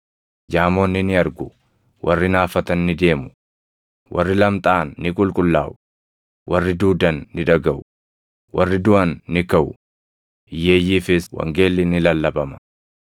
jaamonni ni argu; warri naafatan ni deemu; warri lamxaaʼan ni qulqullaaʼu; warri duudan ni dhagaʼu; warri duʼan ni kaʼu; hiyyeeyyiifis wangeelli ni lallabama.